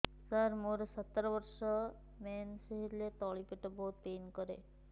ସାର ମୋର ସତର ବର୍ଷ ମେନ୍ସେସ ହେଲେ ତଳି ପେଟ ବହୁତ ପେନ୍ କରେ